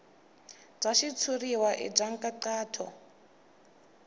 bya xitshuriwa i bya nkhaqato